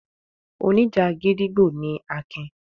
Oníjà gídígbò ni Akin.